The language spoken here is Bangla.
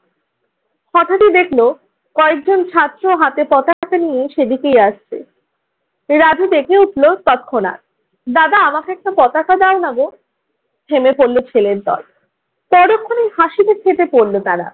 হঠাৎই দেখল কয়েকজন ছাত্র হাতে পতাকা নিয়ে সেদিকেই আসছে। রাজু ডেকে উঠলো তৎক্ষণাৎ। দাদা আমাকে একটা পতাকা দাও না গো। হেলে পড়লো ছেলের দল পরক্ষণে হাসিতে ফেটে পড়ল তারা।